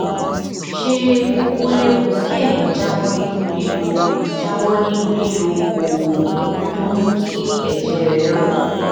ṣé ó léwu kéèyàn jáwó nínú lílo jáwó nínú lílo oògùn tó ń mú kí èjè rè rò